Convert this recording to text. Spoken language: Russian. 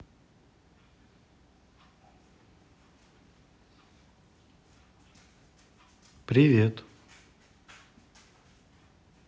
привет